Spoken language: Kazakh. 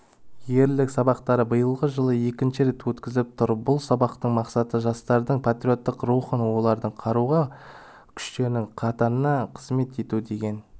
ерлік сабақтары биылғы жылы екінші рет өткізіліп тұр бұл сабақтың мақсаты жастардың патриоттық рухын олардың қарулы күштерінің қатарында қызмет етуге деген